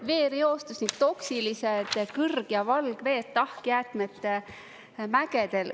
Veereostus ning toksilised kõrg- ja valgveed tahkjäätmete mägedel.